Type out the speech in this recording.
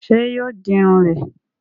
Sé yóò di Irun rè?